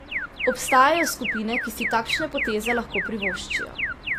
Obstajajo skupine, ki si takšne poteze lahko privoščijo.